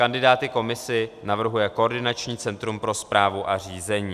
Kandidáty komisi navrhuje koordinační centrum pro správu a řízení.